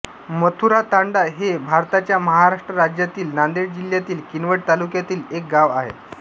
मथुरातांडा हे भारताच्या महाराष्ट्र राज्यातील नांदेड जिल्ह्यातील किनवट तालुक्यातील एक गाव आहे